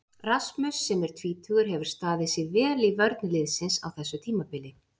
Rasmus sem er tvítugur hefur staðið sig vel í vörn liðsins á þessu tímabili.